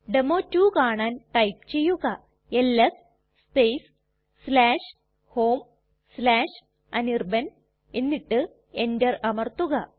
ഡെമോ2 കാണാൻ ടൈപ്പ് ചെയ്യുക LS space homeanirban എന്നിട്ട് enter അമർത്തുക